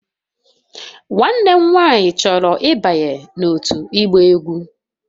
Nwanne m nwanyị chọrọ ịbanye n'òtù ịgba egwú